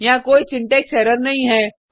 यहाँ कोई syntax error नहीं है